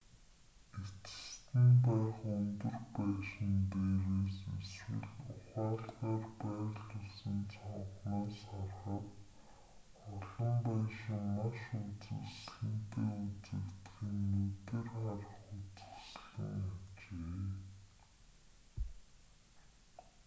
эцэст нь байх өндөр байшин дээрээс эсвэл ухаалгаар байрлуулсан цонхноос харахад олон байшин маш үзэсгэлэнтэй үзэгдэх нь нүдээр харах үзэсгэлэн ажээ